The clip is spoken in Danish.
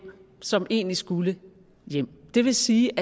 som egentlig skulle hjem det vil sige